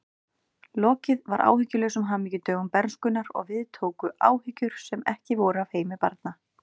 Lokið var áhyggjulausum hamingjudögum bernskunnar og við tóku áhyggjur sem ekki voru af heimi barna.